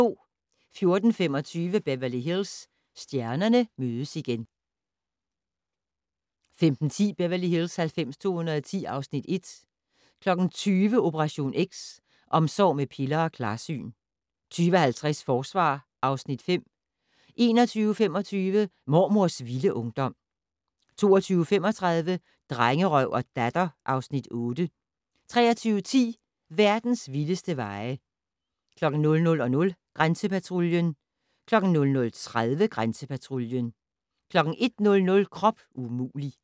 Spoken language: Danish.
14:25: Beverly Hills - stjernerne mødes igen 15:10: Beverly Hills 90210 (Afs. 1) 20:00: Operation X: Omsorg med piller og klarsyn 20:50: Forsvar (Afs. 5) 21:25: Mormors vilde ungdom 22:35: Drengerøv og Datter (Afs. 8) 23:10: Verdens vildeste veje 00:00: Grænsepatruljen 00:30: Grænsepatruljen 01:00: Krop umulig!